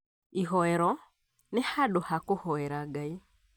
Ĩhoero nĩ handũ ha kũhoera Ngai